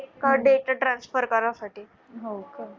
का datatransfer करासाठी .